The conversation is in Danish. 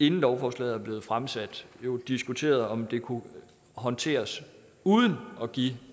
inden lovforslaget blev fremsat diskuteret om det kunne håndteres uden at give